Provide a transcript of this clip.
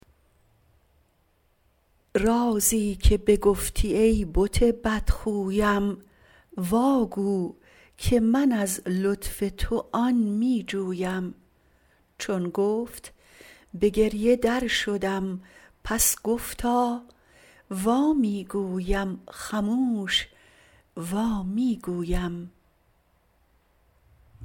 رازیکه بگفتی ای بت بدخویم واگو که من از لطف تو آن میجویم چون گفت به گریه درشدم پس گفتا وامیگویم خموش وامیگویم